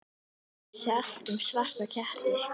Ég vissi allt um svarta ketti.